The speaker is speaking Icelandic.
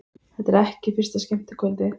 Þetta er ekki fyrsta skemmtikvöldið.